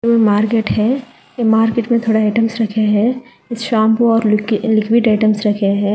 Market है ए market में थोड़ा आइटम्स रखे हैं शैंपू और लिक्वि लिक्विड आइटम्स रखे हैं।